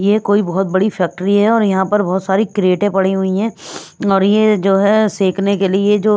ये कोई बहुत बड़ी फैक्ट्री है और यहाँ पर बहुत सारी क्रेटें पड़ी हुई हैं और ये जो है सेंकने के लिए जो।